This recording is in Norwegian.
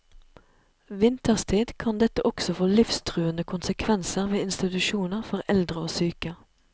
Vinterstid kan dette også få livstruende konsekvenser ved institusjoner for eldre og syke.